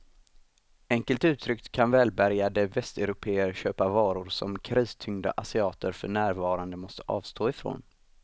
Enkelt uttryckt kan välbärgade västeuropéer köpa varor som kristyngda asiater för närvarande måste avstå ifrån.